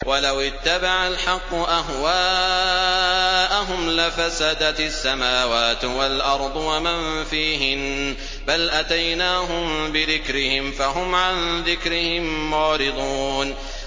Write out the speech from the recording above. وَلَوِ اتَّبَعَ الْحَقُّ أَهْوَاءَهُمْ لَفَسَدَتِ السَّمَاوَاتُ وَالْأَرْضُ وَمَن فِيهِنَّ ۚ بَلْ أَتَيْنَاهُم بِذِكْرِهِمْ فَهُمْ عَن ذِكْرِهِم مُّعْرِضُونَ